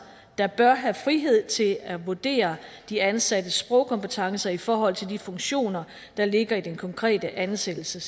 der bør have frihed til at vurdere de ansattes sprogkompetencer i forhold til de funktioner der ligger i den konkrete ansættelse